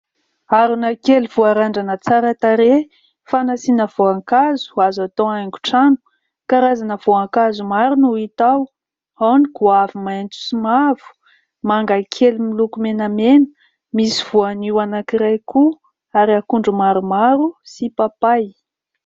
Harona kely voarandrana tsara tarehy fanasiana voankazo azo atao haingo trano; karazana voankazo maro no hita ao, ao ny goavy maintso sy mavo manga kely miloko menamena misy voanio anankiray koa ary akondro maromaro sy papay.